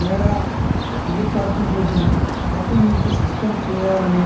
మేడా మల్లికార్డున్ రెడ్డిని పార్టీ నుంచి సస్పెండ్ చేయాలని